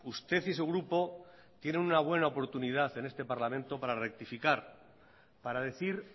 usted y su grupo tienen una buena oportunidad en este parlamento para rectificar para decir